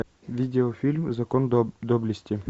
видеофильм закон доблести